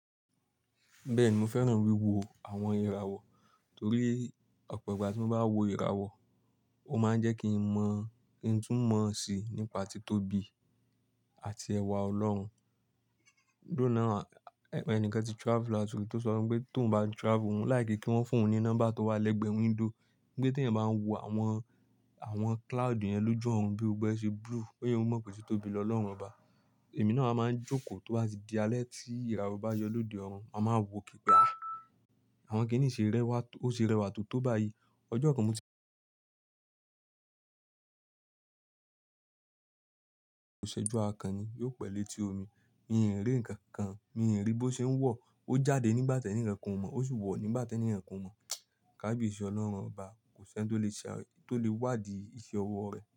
Bẹ́ẹ̀ni, mo fẹ́ràn wí wo àwọn ìràwọ̀ torí ọ̀pọ̀ ìgbà tí mo bá wo ìràwọ̀, ó máa ń jẹ́ kí n mọ̀, kí n tú mọ̀ sí nípa tí tóbi àti ẹwà Ọlọ́run. Dóná, ẹnìkan ti travel out ri tó sọ pé tó ouń bá travel, wọ́n láì ni kí wọ́n fún ọ ní nọ́mbà tó wà lẹ́gbẹ̀ẹ́ window. Pé tí ẹ̀yin bá ń wo àwọn, àwọn cloud yẹn ló ju orun bí gbogbo e ṣe blue, ó yẹ kó mọ̀ pé titóbi lọ Ọlọ́run ọba. Èmi náà wa máa ń jókòó tó bá ti di alẹ́ tí ìràwọ̀ bá yọ lóde ọrùn, a máa wo kìpàá. Àwọn kí nì ṣe rẹwà tóto bá yí. Ọjọ́ kan mo ti òṣèjú akan ni yóò pẹ́ lẹ́ti omi. Mi ò rí ǹkan kan, mi ò rí bí ó ṣe ń wọ̀. O jáde nígbà teni kankan o mo, o si wo nígbà teni kankan o mo. Káàbíyesi Ọlọ́run ọba, kò sí ẹ́ni tó lè ṣe àárín, tó lè wádìí iṣẹ́ owó rẹ̀.